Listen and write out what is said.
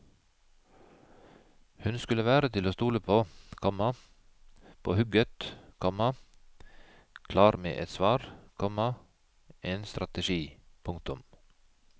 Hun skulle være til å stole på, komma på hugget, komma klar med et svar, komma en strategi. punktum